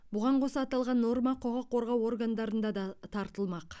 бұған қоса аталған норма құқық қорғау органдарында да таратылмақ